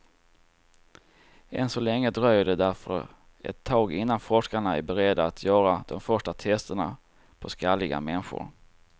Än så länge dröjer det därför ett tag innan forskarna är beredda att göra de första testerna på skalliga människor.